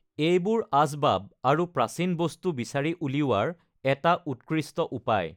এইবোৰ আচবাব আৰু প্ৰাচীন বস্তু বিচাৰি উলিওৱাৰ এটা উৎকৃষ্ট উপায়।